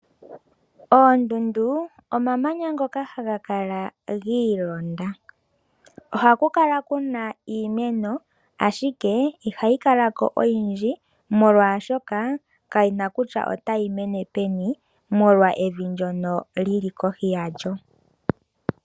Oondundu, omamanya ngoka haga kala giilonda ohaku kala kuna iimeno ashike ihayi kala ko oyindji molwashoka kayina kutya otayi mene peni molwa evi ndjono lyili kohi yalyo.